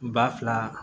Ba fila